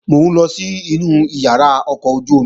Mò ń lọ sínu ìyàrá ọkọ̀ ojú-omi